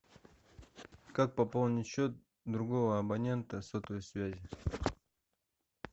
как пополнить счет другого абонента сотовой связи